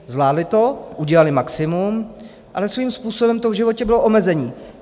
Zvládly to, udělaly maximum, ale svým způsobem to v životě bylo omezení.